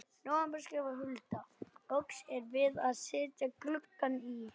nóvember skrifar Hulda: Lokið er við að setja gluggana í.